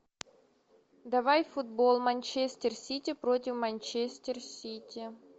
давай футбол манчестер сити против манчестер сити